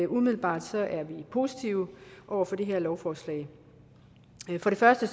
umiddelbart er positive over for det her lovforslag for det første